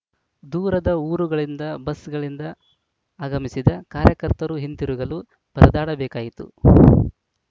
ದೂರದ ಊರುಗಳಿಂದ ಬಸ್‌ಗಳಿಂದ ಆಗಮಿಸಿದ ಕಾರ್ಯಕರ್ತರು ಹಿಂತಿರುಗಲು ಪರದಾಡಬೇಕಾಯಿತು